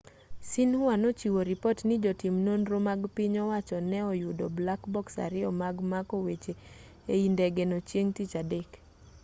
xinhua nochiwo ripot ni jotim nonro mag piny owacho ne oyudo 'black box' ariyo mag mako weche ei ndegeno chieng' tich adek